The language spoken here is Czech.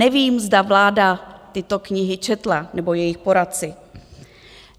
Nevím, zda vláda tyto knihy četla, nebo jejich poradci.